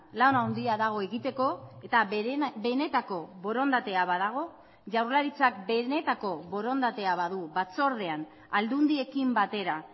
lana handia dago egiteko eta benetako borondatea badago jaurlaritzak benetako borondatea badu batzordean aldundiekin batera